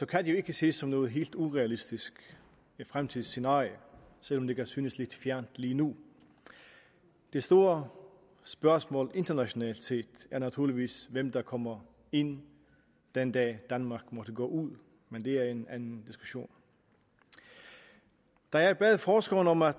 kan det jo ikke ses som noget helt urealistisk fremtidsscenarie selv om det kan synes lidt fjernt lige nu det store spørgsmål internationalt set er naturligvis hvem der kommer ind den dag danmark måtte gå ud men det er en anden diskussion da jeg bad forskeren om at